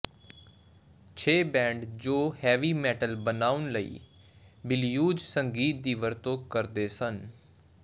ਛੇ ਬੈਂਡ ਜੋ heavy metal ਬਣਾਉਣ ਲਈ ਬਲਿਊਜ਼ ਸੰਗੀਤ ਦੀ ਵਰਤੋਂ ਕਰਦੇ ਸਨ